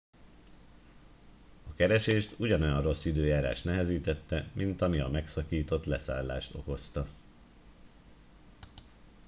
a keresést ugyanolyan rossz időjárás nehezítette mint ami a megszakított leszállást okozta